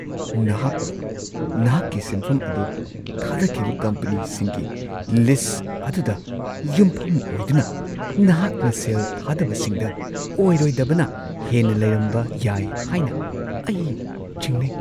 ꯅꯍꯥꯛꯅ ꯅꯍꯥꯛꯀꯤ ꯁꯦꯟꯐꯝ ꯑꯗꯨ ꯊꯥꯗꯈꯤꯕ ꯀꯝꯄꯅꯤꯁꯤꯡꯒꯤ ꯂꯤꯁꯠ ꯑꯗꯨꯗ ꯌꯨꯝꯐꯝ ꯑꯣꯏꯗꯨꯅ, ꯅꯍꯥꯛꯅ ꯁꯦꯜ ꯊꯥꯗꯕꯁꯤꯡꯗ ꯑꯣꯏꯔꯣꯏꯗꯕꯅ ꯍꯦꯟꯅ ꯂꯩꯔꯝꯕ ꯌꯥꯏ ꯍꯥꯏꯅ ꯑꯩ ꯆꯤꯡꯅꯩ꯫